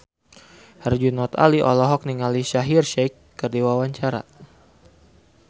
Herjunot Ali olohok ningali Shaheer Sheikh keur diwawancara